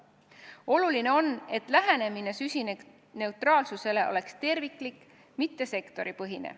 Oluline on, et lähenemine süsinikuneutraalsusele oleks terviklik, mitte sektoripõhine.